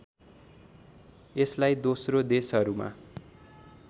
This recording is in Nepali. यसलाई दोस्रो देशहरूमा